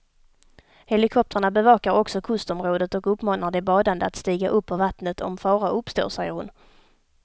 Helikoptrarna bevakar också kustområdet och uppmanar de badande att stiga upp ur vattnet om fara uppstår, säger hon.